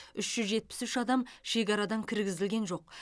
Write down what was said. үш жүз жетпіс үш адам шекарадан кіргізілген жоқ